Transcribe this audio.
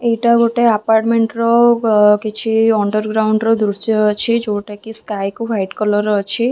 ଏଇଟା ଗୋଟେ ଆପାର୍ଟମେଣ୍ଟ ର ଗ--କିଛି ଅଣ୍ଡରଗ୍ରାଉଣ୍ଡ ର ଦୃଶ୍ୟ ଅଛି ଯୋଉଟାକି ସ୍କାଏ କୁ ହ୍ଵାଇଟ କଲର୍‌ ଅଛି ।